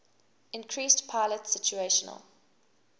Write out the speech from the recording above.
increased pilot situational